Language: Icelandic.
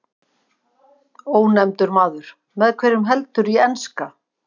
Ónefndur maður: Með hverjum heldurðu í enska?